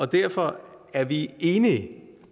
derfor er vi enige